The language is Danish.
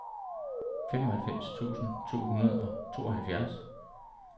femoghalvfems tusind to hundrede og tooghalvfjerds